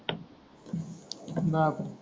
धंदात